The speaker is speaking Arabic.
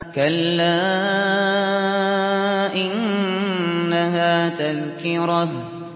كَلَّا إِنَّهَا تَذْكِرَةٌ